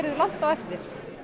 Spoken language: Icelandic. langt á eftir